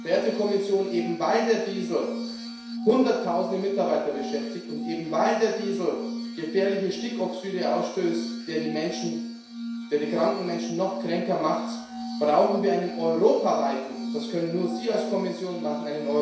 Verehrte Kommission, eben weil der Diesel hunderttausende Mitarbeiter beschäftigt und weil der Diesel gefährliche Stickoxide ausstößt, der die kranken Menschen noch kränker macht, brauchen wir einen europaweiten Aktionsplan das können nur Sie als Kommission machen.